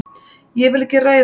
Ég vil ekki ræða um það.